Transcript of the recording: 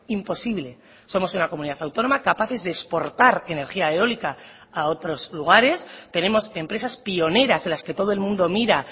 imposible somos una comunidad autónoma capaces de exportar energía eólica a otros lugares tenemos empresas pioneras en las que todo el mundo mira